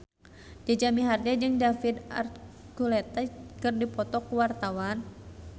Jaja Mihardja jeung David Archuletta keur dipoto ku wartawan